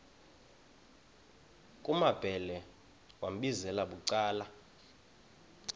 kumambhele wambizela bucala